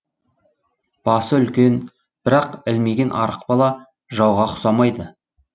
басы үлкен бірақ ілмиген арық бала жауға ұқсамайды